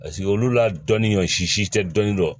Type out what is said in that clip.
Paseke olu la dɔnni ɲɔnsi si tɛ dɔnni dɔn